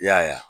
I y'a ye wa